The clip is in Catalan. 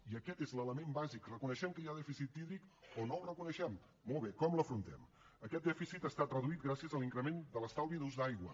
i aquest és l’element bàsic reconeixem que hi ha dèficit hídric o no el reconeixem molt bé com l’afrontem aquest dèficit ha estat reduït gràcies a l’increment de l’estalvi d’ús d’aigua